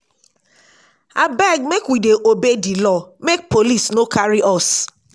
abeg make we dey obey di law make police no carry us.